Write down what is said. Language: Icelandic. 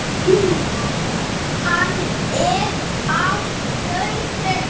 Hann er á lausu.